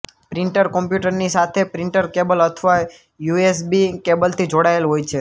પિન્ટર કોમ્પ્યુટરની સાથે printer cable અથવા યુ એસે બી કેબલથી જોડાયેલ હોય છે